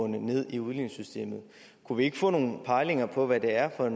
ned i udligningssystemet kunne vi ikke få nogle pejlinger på hvad det er for